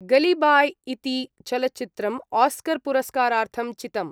गलीबाय् इति चलचित्रम् ऑस्कर् पुरस्कारार्थं चितम्।